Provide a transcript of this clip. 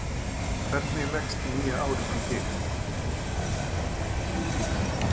Hvernig leggst nýja árið í þig?